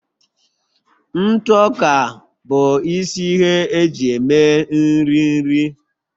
ntụ ọka bụ isi ihe eji eme nri nri